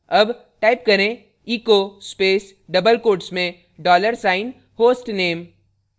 double type करें echo space double quotes में dollar sign hostname